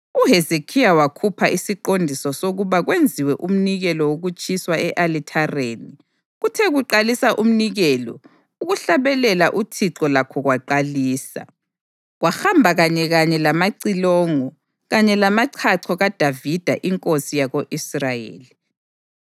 UHezekhiya wakhupha isiqondiso sokuba kwenziwe umnikelo wokutshiswa e-alithareni. Kuthe kuqalisa umnikelo, ukuhlabelela uThixo lakho kwaqalisa, kwahamba kanyekanye lamacilongo kanye lamachacho kaDavida inkosi yako-Israyeli.